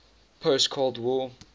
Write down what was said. post cold war